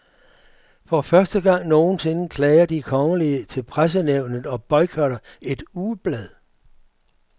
For første gang nogensinde klager de kongelige til pressenævnet og boykotter et ugeblad.